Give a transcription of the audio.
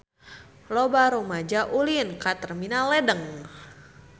Loba rumaja ulin ka Terminal Ledeng